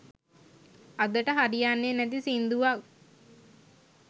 අදට හරියන්නෙ නැති සිංදුවක්